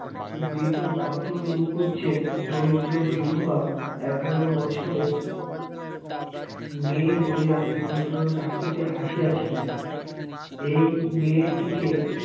মৃত অতুল মুখু্য্যের দরিদ্র বিধবা এগারো বছরের মেয়ে লইয়া নিমন্ত্রণ রাখিতে আসিয়াছিলেন এই মেয়েটিকে